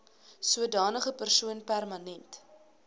sodanige persoon permanent